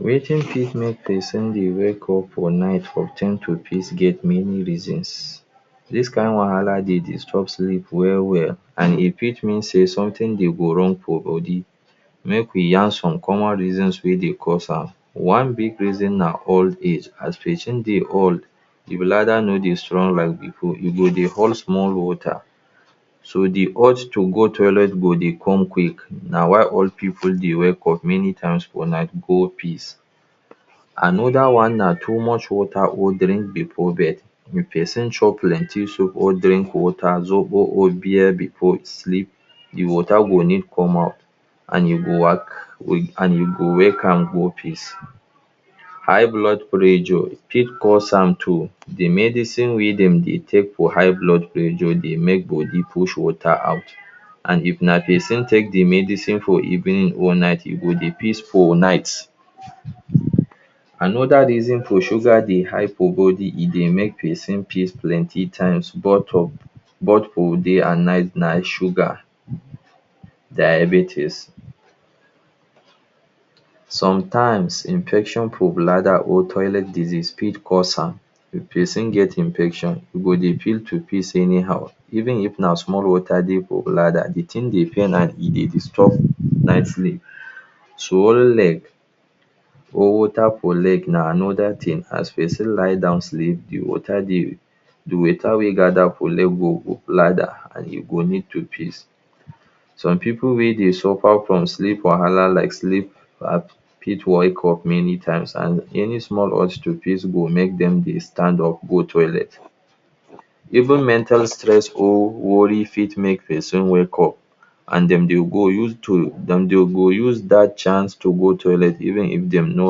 Wetin fit make pesin dey wake up for night for time to piss get many reasons. Dis kind wahala dey disrupt sleep well well and e fit mean sey something dey go wrong for body. Make we yarn some common reasons wey dey cause am. One big reason na old age. As pesin dey old the bladder no dey strong like before. E go dey hold small water So the urge to go toilet go dey come quick. Na why old pipu dey wake up many times for night go piss. Another one na too much water holding before bed. If pesin chop plenty soup or drink water, zobo or beer before e sleep, the water go need come out and you go wa wake and you go wake am go piss. High blood pressure fit cause am too. The medicine wey dem dey take for high blood pressure dey make body push water out. And if na pesin take the medicine for evening or night, e go dey piss for night. Another reason for sugar dey high for body, e dey make pesin piss plenty times. Both for both for day and night na sugar. diabetes. Sometimes infection for bladder or toilet disease fit cause am. If person get infection, e go dey feel to piss anyhow. Even if na small water dey for bladder, the thing dey pain am. E dey disrupt night sleep. So swollen leg for water for leg na another thing. As pesin lie down sleep, the water dey, the water wey gather for leg go go for bladder and you go need to piss. Some pipu wey dey suffer from sleep wahala like sleep. fit wake up many times and any small urge to pis go make dem dey stand up go toilet. Even mental stress or worry fit make pesin wake up and dem dey go use to den dem go den use dat chance to go toilet even if de no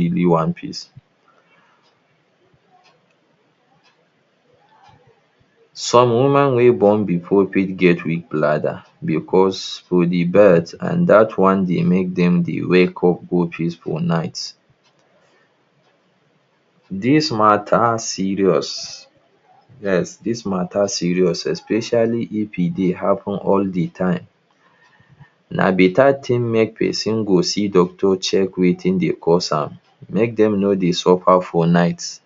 really wan piss. Some women wey born before fit get big bladder because for the birth and dat one dey make dem dey wake up go piss for night. Dis matter serious, Yes dis matter serious especially if e dey happen all the time. Na beta thing make pesin go see doctor, check wetin dey cause am make dem no dey suffer for night